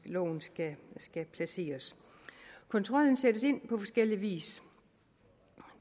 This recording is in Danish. loven skal skal placeres kontrollen sættes ind på forskellig vis